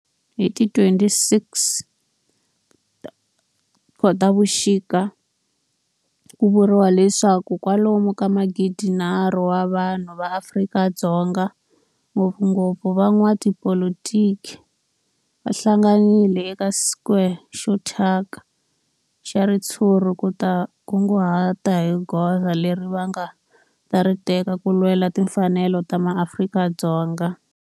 Hi ti 26 Khotavuxika ku vuriwa leswaku kwalomu ka magidi-nharhu wa vanhu va Afrika-Dzonga, ngopfungopfu van'watipolitiki va hlanganile eka square xo thyaka xa ritshuri ku ta kunguhata hi goza leri va nga ta ri teka ku lwela timfanelo ta maAfrika-Dzonga.